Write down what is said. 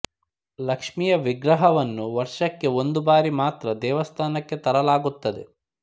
ಲಕ್ಷ್ಮೀಯ ವಿಗ್ರಹವನ್ನು ವರ್ಷಕ್ಕೆ ಒಂದು ಬಾರಿ ಮಾತ್ರ ದೇವಸ್ಥಾನಕ್ಕೆ ತರಲಾಗುತ್ತದೆ